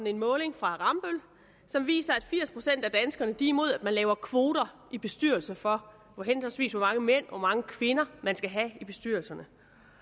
en måling fra rambøll som viser at firs procent af danskerne er imod at man laver kvoter i bestyrelser for henholdsvis hvor mange mænd og hvor mange kvinder man skal have i bestyrelserne